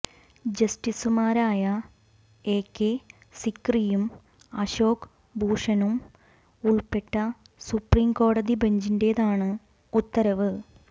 ജസ്റ്റിസുമാരായ എകെ സിക്രിയും അശോക് ഭൂഷണും ഉള്പ്പെട്ട സുപ്രീം കോടതി ബഞ്ചിന്റേതാണ് ഉത്തരവ്